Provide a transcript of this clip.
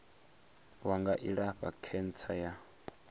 wa nga ilafha khentsa ya